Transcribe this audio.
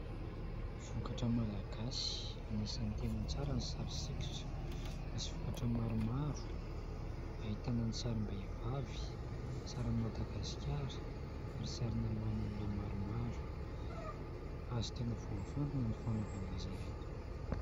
Vokatra malagasy anisan'ny tena tsara ny sary sikotra. Misy vokatra maromaro ahitana : ny sarim-behivavy, sarin'i Madagasikara ary sarina lohan'olona maromaro. Hazo tena voafantina ny fanaovana azy ireto.